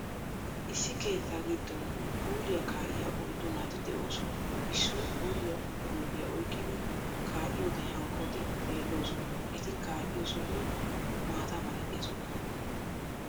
Issi keettaa giddon puuliyaa kaa'iya oyddu naati de'oosona. Issoy puuliyaa guuppiya oyqqidi kaaiyode hankkoti xeelloosona. Eti kaa'iyo sohoy maata malatiya sohuwan.